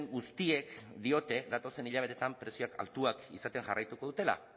guztiek diote datozen hilabeteetan prezioak altuak izaten jarraituko dutela